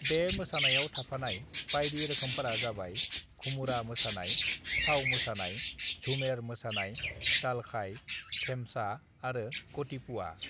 "बे मोसानायाव थाफानाय बायदि रोखोमफोरा जाबाय घुमुरा मोसानाय, चाउ मोसानाय, झुमेर मोसानाय, दालखाय, धेमसा आरो गतिपुवा।"